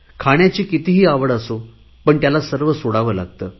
खाण्याची कितीही आवड असो पण त्याला सर्व सोडावे लागते